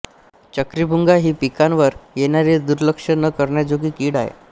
चक्रीभुंगा ही पिकांवर येणारीदुर्लक्ष्य न करण्याजोगी किड आहे